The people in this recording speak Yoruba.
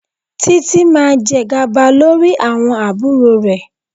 Títí máa jẹ gàba lórí àwọn àbúrò rẹ̀.